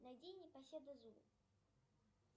найди непоседа зу